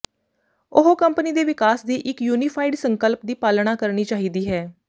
ਉਹ ਕੰਪਨੀ ਦੇ ਵਿਕਾਸ ਦੀ ਇੱਕ ਯੂਨੀਫਾਈਡ ਸੰਕਲਪ ਦੀ ਪਾਲਣਾ ਕਰਨੀ ਚਾਹੀਦੀ ਹੈ